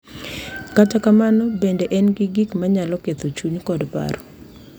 Kata kamano, bende en gi gik ma nyalo ketho chuny kod paro.